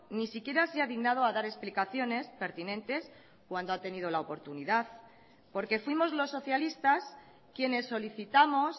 ni siquiera se ha dignado a dar explicaciones pertinentes cuando ha tenido la oportunidad porque fuimos los socialistas quienes solicitamos